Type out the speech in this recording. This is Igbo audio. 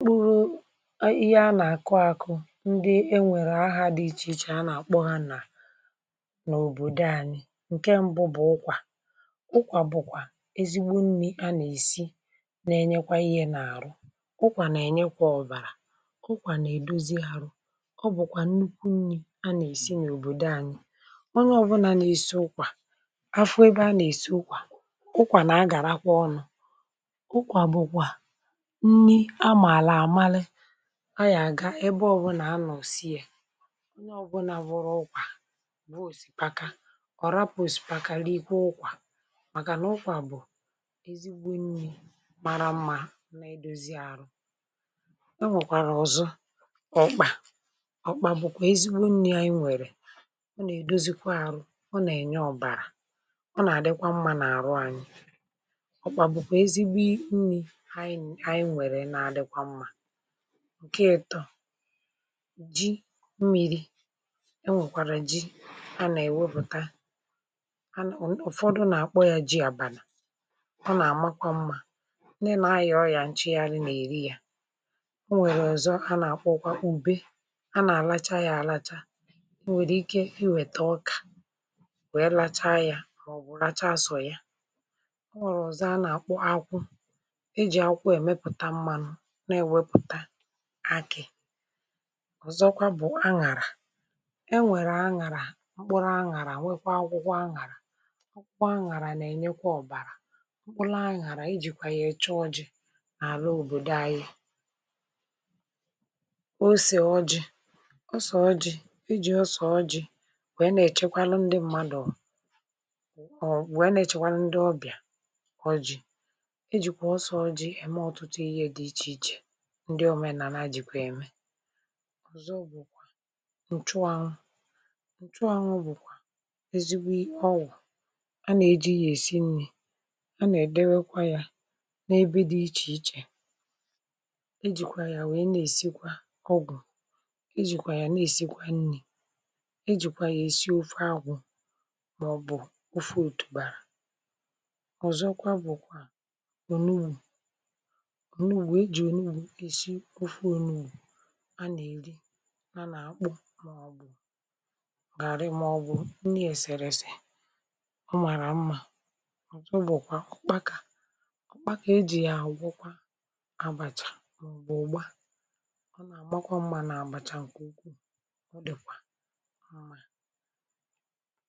Ihe a na-akụ, ndị e nwere aha dị iche iche, a na-akpọ ha n’obodo anyị. Nke mbụ bụ ụ̀kwà. Ụ̀kwà bụ ezigbo nni a na-esi, um na-enyekwa ahụ ike, ụ̀kwà na-enyekwa ọbara.. ụ̀kwà na-edozi ahụ. Ọ bụkwa nnukwu nni a na-esi n’obodo anyị. um, ọ bụ ezie na ọ bụghị ebe niile ka a na-esi ụ̀kwà, um ebe a na-esi ụ̀kwà, ụ̀kwà na-agakarị ọnụ, ka ya aga ebe ọbụna. Onye ọbụla wụrụ ụ̀kwà, n’ihi na ọ sipaka, ọ bụghị onye ga-apụ n’ụlọ ahụ na-enweghị iri ụ̀kwà. ụ̀kwà bụ ezigbo nni mara mma, um ma na-edozikwa ahụ. Ọ nwekwara ọzọ ọ̀kpà. Ọ̀kpà bụkwa ezigbo nni anyị nwere. Ọ na-edozi ahụ, na-enyekwa ọbara, um ma na-adịkwa mma n’ahụ mmadụ. Ọ̀kpà bụkwa ezigbo nni anyị nwere, um ma ọ dịkwa mma. Um, nke ọzọ bụ ji. Ịtọ ji mmiri, ma ọ bụ ji a na-ewepụta, ụfọdụ na-akpọ ya ji abalà. Ọ na-atọ ụtọ, ma na-emekwa ka ndị na-aya oria nweta ume. Ọ dịkwa mma maka nri abalị, um n’ihi na ọ dị mfe iri. Ọ nwekwara ọzọ ụ̀kwa ùbe. A na-alacha ya, um a na-ekwukwa na e nwere ike iweta ọka, wee lacha ya ọnụ, ma ọ bụrụ na e láchaa asọ ya, ọ na-esi ezigbo ụtọ. Ọzọkwa bụ àkwụ̀. A na-eji àkwụ̀ emepụta mmanụ, um nke na-enye anyị nri na uru ọzọ. Ọzọ bụ aṅàrà. E nwekwara mkpụrụ aṅàrà, na akwụkwọ aṅàrà. Akwụkwọ aṅàrà na-enyekwa ọbara, um mkpụrụ aṅàrà a na-eji kwa ya echa ọjị. N’ọrụ obodo anyị, osè ọjị̇ bụkwa ihe dị mkpa. A na-eji osè ọjị gwere ndị mmadụ, na-echekwa ndị ọbịa, ma na-eme ka mmekọrịta dị n’etiti mmadụ sie ike. Ọjị bụkwa ihe eji emeso oge dị iche iche, um na-enye ọṅụ, ma na-egosi udo. Ọzọ bụkwa nchụahụ. Nchụahụ bụ ezigbo ọgwụ, a na-eji ya esi nri, um ma na-edekwa ya n’ebe dị iche iche. Ejikwa ya eme ọgwụ, ejikwa ya esi ofe agwụ ma ọ bụ ofe otu bara. Ọzọkwa bụ ònùù, um nke a na-eri dịka garị, ma ọ bụ nni eserese. Ọ na-atọ ụtọ nke ukwuu. N’ikpeazụ, ọ̀kpakà. Ọ̀kpakà a na-ejikwa ya hụ̀ na àbàchà ma ọ bụ ụ̀gba. Ọ na-eme ka àbàchà ahụ maa mma ma sie ụtọ. Um Nke Ugwu ụ̀ dịkwa mma, um ma ọ na-eme ka mmadụ nwee mmasị iri ya ọzọ.(um), ihe ndị a niile bụ akụkụ nke nri obodo anyị nri ndị na-enye ahụ ike, obi ụtọ, na njikọta n’etiti mmadụ.